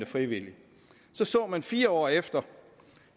frivilligt så så man fire år efter